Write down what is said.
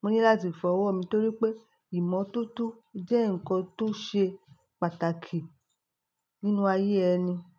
mo ní láti fọwọ́ mi torí pé ìmọ́tótó jẹ́ nǹkan tó ṣe pàtàkì nínú ayé ẹni.